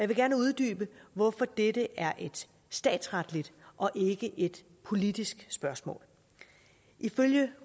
vil gerne uddybe hvorfor dette er et statsretligt og ikke et politisk spørgsmål ifølge